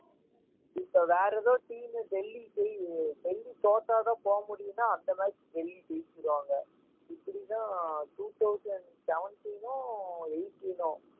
இப்ப வேற ஏதோ team டெல்லிக்கு போயி டெல்லி தோத்தாதான் போக முடியும்ன்னா அந்த match டெல்லி ஜெயிச்சிருவாங்க இது இப்படித்தான் two thousand seventeen னோ eighteen னோ